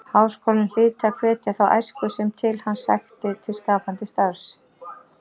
Háskólinn hlyti að hvetja þá æsku sem til hans sækti til skapandi starfs.